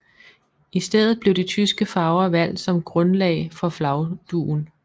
I stedet blev de tyske farver valgt som grundlag for flagdugen